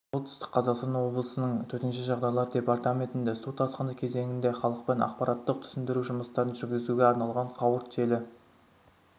солтүстік қазақстан облысының төтенше жағдайлар департаментінде су тасқын кезеңінде халықпен ақпараттық-түсіндіру жұмыстарын жүргізуге арналған қауырт желі